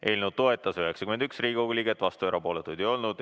Eelnõu toetas 91 Riigikogu liiget, vastuolijaid ja erapooletuid ei olnud.